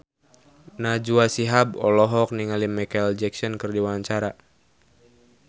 Najwa Shihab olohok ningali Micheal Jackson keur diwawancara